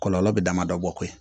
Kɔlɔlɔ bɛ damadɔ bɔ koyi